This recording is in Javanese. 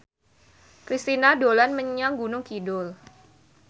Kristina dolan menyang Gunung Kidul